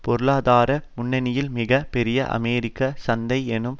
பொருளாதார முன்னணியில் மிக பெரிய அமெரிக்க சந்தை என்னும்